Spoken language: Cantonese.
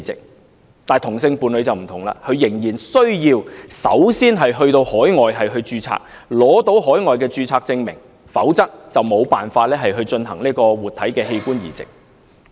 然而，本港同性伴侶則不同，仍然需要首先在海外註冊，取得海外註冊證明，否則就無法進行活體器官移植。